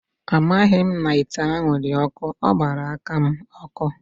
Amaghị m na ite ahụ dị ọkụ, ọ gbara aka m ọkụ.